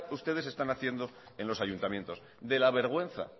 ustedes están haciendo en los ayuntamientos de la vergüenza